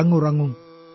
ഉറങ്ങുറങ്ങൂ